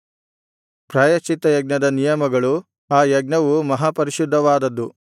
ಪ್ರಾಯಶ್ಚಿತ್ತಯಜ್ಞದ ನಿಯಮಗಳು ಆ ಯಜ್ಞವು ಮಹಾಪರಿಶುದ್ಧವಾದದ್ದು